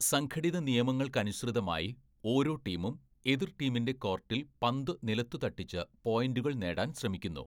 സംഘടിത നിയമങ്ങൾക്കനുസൃതമായി ഓരോ ടീമും എതിർ ടീമിന്റെ കോർട്ടിൽ പന്ത് നിലത്തു തട്ടിച്ച് പോയിന്റുകൾ നേടാൻ ശ്രമിക്കുന്നു.